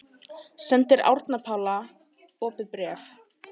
Sendir Árna Páli opið bréf